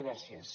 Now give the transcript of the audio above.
gràcies